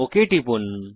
okay টিপুন